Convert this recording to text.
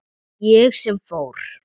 Ég sem fór.